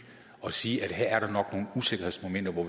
og sige her er der nok nogle usikkerhedsmomenter hvor